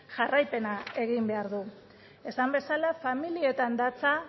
jarraipena egin behar du esan bezala familietan datza